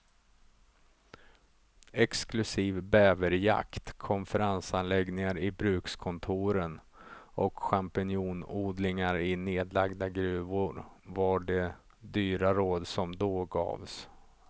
Exklusiv bäverjakt, konferensanläggningar i brukskontoren och champinjonodlingar i nedlagda gruvor var de dyra råd som då gavs.